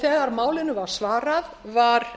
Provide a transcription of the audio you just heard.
þegar málinu var svarað var